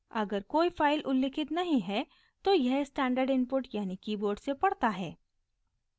अगर कोई फाइल उल्लिखित नहीं है तो यह स्टैण्डर्ड इनपुट यानि कीबोर्ड से पढ़ता है